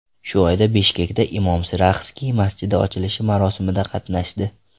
Shu oyda Bishkekda imom Siraxsiy masjidi ochilishi marosimida qatnashdi.